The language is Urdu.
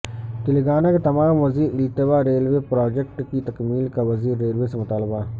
تلنگانہ کے تمام زیر التوا ریلوے پراجکٹس کی تکمیل کا وزیر ریلوے سے مطالبہ